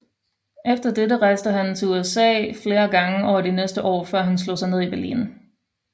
Efter dette rejste han til USA flere gange over de næste år før han slog sig ned i Berlin